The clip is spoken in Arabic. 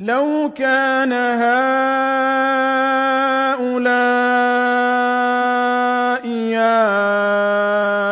لَوْ كَانَ هَٰؤُلَاءِ